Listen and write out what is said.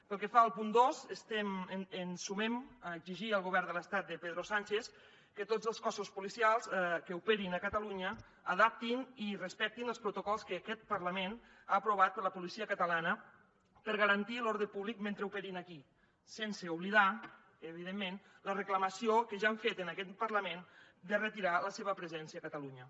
pel que fa al punt dos ens sumem a exigir al govern de l’estat de pedro sánchez que tots els cossos policials que operin a catalunya adaptin i respectin els protocols que aquest parlament ha aprovat per a la policia catalana per garantir l’ordre públic mentre operin aquí sense oblidar evidentment la reclamació que ja hem fet en aquest parlament de retirar la seva presència a catalunya